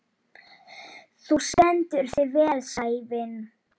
Þú stendur þig vel, Sævin!